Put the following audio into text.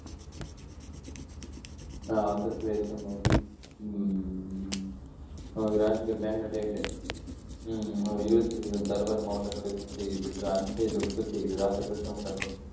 ஆந்திர பிரதேசம் உம் நமக்கு rank க்கு மேக்னடேட் இருபத்தி அஞ்சு சதவீதம் தர்பார் மாவட்டக்